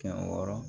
Kɛmɛ wɔɔrɔ